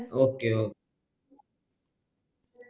okay okay